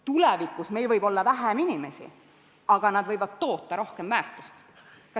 Tulevikus meil võib olla vähem inimesi, aga nad võivad toota rohkem väärtust.